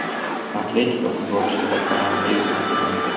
“Atletiko” futbolchisida koronavirus aniqlandi.